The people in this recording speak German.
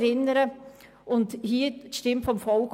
Wir vertreten damit die Stimme des Volks.